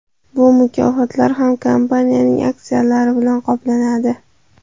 Bu mukofotlar ham kompaniyaning aksiyalari bilan qoplanadi.